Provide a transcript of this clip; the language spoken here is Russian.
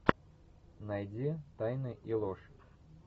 найди тайны и ложь